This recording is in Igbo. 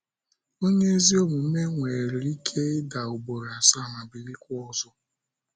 Onye ezi omume nwere Ike ida ugboro asaa, ma bilikwa ọzọ.. ”